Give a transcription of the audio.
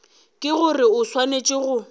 ke gore o swanetše go